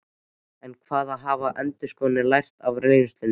En hvað hafa endurskoðendur lært af reynslunni?